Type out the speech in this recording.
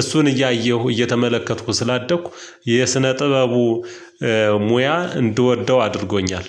እሱን እያየሁ እየተመለከትኩ ስላደግኩ የስነ ጥበቡ ሙያ እንድወደው አድርጎኛል።